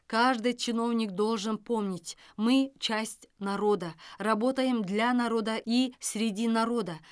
каждый чиновник должен помнить мы часть народа работаем для народа и среди народа